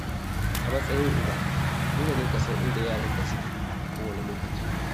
A matsayin uba, dole ne ka san inda yaranka suke a kowane lokaci.